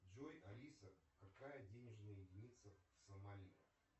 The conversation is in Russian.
джой алиса какая денежная единица в сомали